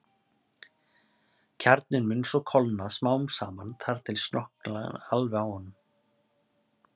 Kjarninn mun svo kólna smám saman þar til slokknar alveg á honum.